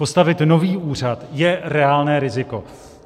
Postavit nový úřad je reálné riziko.